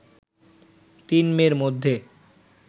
তিন মেয়ের মধ্যে